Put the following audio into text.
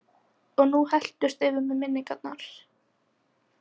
Og nú helltust yfir mig minningarnar.